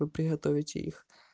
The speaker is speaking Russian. вы приготовите их